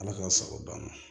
Ala k'a sago banna